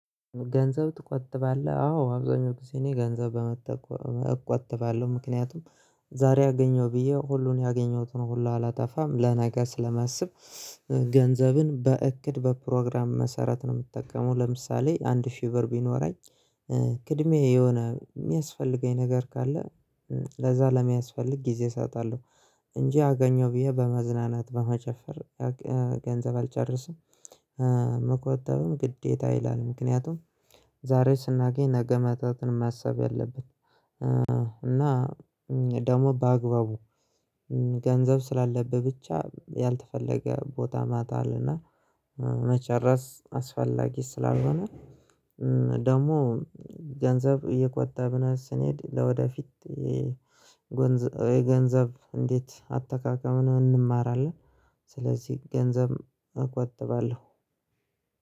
ገንዘብ ትቆጥባለህ? አዎ አብዛኛው ጊዜ እኔ ገንዘብ በመጠቆ እቆጥባለሁ ምክንያቱም ዛሬ አገኘው ብዬ ሁሉን ያገኘሁትን ሁሉ አላጣፋም ለነገ ስለማስብ። ገንዘብን በእቅድ በፕሮግራም መሰረት ነው የምጠቀመው ለምሳሌ አንድ ሺ ቢኖራኝ ቅድሚያ የሆነ የሚያስፈልገኝ ነገር ካለ ለዛ ለሚያስፈልግ ጊዜ እሳጣለሁ እንጂ አገኘሁ ብዬ በመዝናናት በመጨፈር ገንዘብ አልጨርስም። መቆጠብም ግዴታ ይላል ምክንያቱም ዛሬ ስናገኝ ነገ ማጣትን ማሰብ ያለብን። እና ደግሞ በአግባቡ ገንዘብ ስላለብህ ብቻ ያልተፈለገ ቦታ ማታ አለና መጨረስ አስፈላጊ ስላልሆነ። ደግሞ ገንዘብ እየቆጣብነ ስንሄድ ለወደፊት የጎንዘ የገንዘብ እንዴት አጠቃቀምን እንማራለን? ስለዚህ ገንዘብ እቆጥባለሁ።